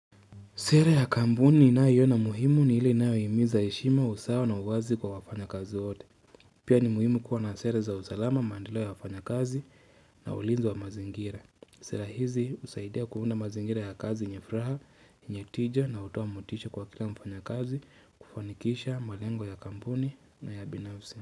Sera ya kampuni ninayoiona muhimu ni ile inayohimiza heshima, usawa na uwazi kwa wafanyakazi wote. Pia ni muhimu kuwa na sera za usalama, mandeleo ya wafanyakazi na ulinzi wa mazingira. Sera hizi husaidia kuunda mazingira ya kazi yenye furaha, yenye tija na hutoa motisha kwa kila mfanyakazi kufanikisha malengo ya kampuni na ya kibinafsi.